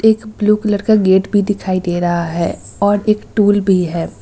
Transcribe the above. एक blue colour का gate भी दिखाई दे रहा है और एक टूल भी है।